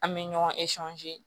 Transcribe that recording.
An bɛ ɲɔgɔn